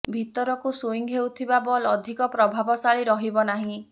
ଭିତରକୁ ସ୍ବିଙ୍ଗ ହେଉଥିବା ବଲ ଅଧିକ ପ୍ରଭାବଶାଳୀ ରହିବ ନାହିଁ